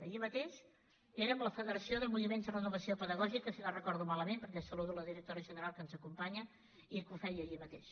ahir mateix era amb la federació de moviments de renovació pedagògica si no ho recordo malament perquè saludo la directora general que ens acompanya i que ho feia ahir mateix